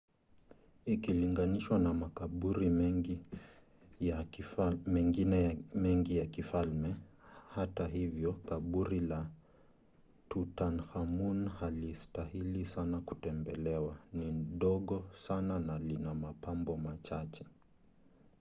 ikilinganishwa na makaburi mengine mengi ya kifalme hata hivyo kaburi la tutankhamun halistahili sana kutembelewa ni dogo sana na lina mapambo machache